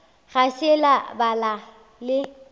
ga se la ba le